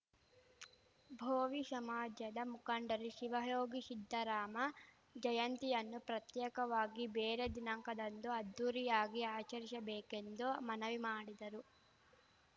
ಭೋವಿ ಶಮಾಜದ ಮುಖಂಡರು ಶಿವಯೋಗಿ ಶಿದ್ದರಾಮ ಜಯಂತಿಯನ್ನು ಪ್ರತ್ಯೇಕವಾಗಿ ಬೇರೆ ದಿನಾಂಕದಂದು ಅದ್ದೂರಿಯಾಗಿ ಆಚರಿಶಬೇಕೆಂದು ಮನವಿ ಮಾಡಿದರು